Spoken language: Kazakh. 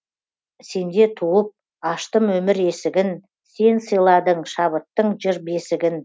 сенде туып аштым өмір есігін сен сыйладың шабыттың жыр бесігін